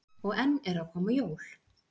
Og enn eru að koma jól.